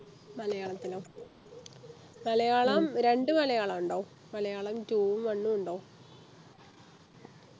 മലയാളത്തിനോ മലയാളം രണ്ടു മലയാളം ഉണ്ടോ മലയാളം two ഉം one ഉം ഉണ്ടോ